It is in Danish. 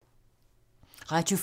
Radio 4